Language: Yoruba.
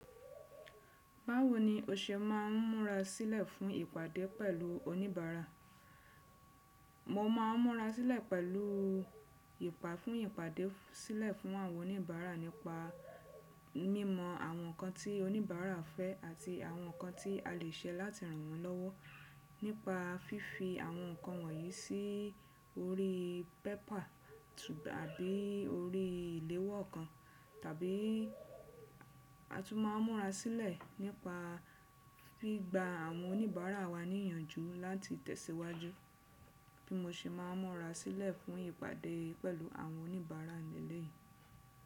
Báwo ni o ṣe máa ń múra sílẹ̀ fún ìpàdé pẹ̀lú oníbàárà? Mo máa ń múra sílẹ̀ pẹ̀lú ìpà fún ìpàdé sílẹ̀ fún àwọn oníbàárà nípa mímọ àwọn nǹkan tí oníbàárà fẹ́ àti àwọn nǹkan tí a lè ṣe láti ràn wọ́n lọ́wọ́ nípa fífi àwọn nǹkan wọ̀nyí sí orí pépà tàbí orí ìléwọ́ kan. Tàbí a tún máa ń múra sílẹ̀ nípa gbigba àwọn oníbàárà wa ní ìyànjú láti tẹ̀síwájú bí mo ṣe máa ń múra sílẹ̀ fún ìpàdé pẹ̀lú àwọn oníbàárà ni eleyìí.